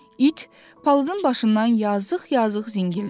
İt, palıdın başından yazıq-yazıq zingildədi.